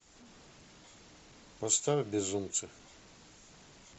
поставь безумцы